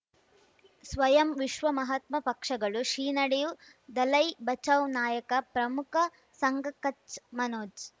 ಸ್ವಯಂ ವಿಶ್ವ ಮಹಾತ್ಮ ಪಕ್ಷಗಳು ಶ್ರೀ ನಡೆಯೂ ದಲೈ ಬಚೌ ನಾಯಕ ಪ್ರಮುಖ ಸಂಘ ಕಚ್ ಮನೋಜ್